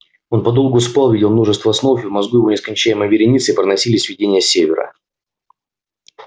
он подолгу спал видел множество снов и в мозгу его нескончаемой вереницей проносились видения севера